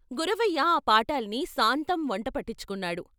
గురవయ్య ఆ పాఠాల్ని సాంతం వంటపట్టించుకున్నాడు.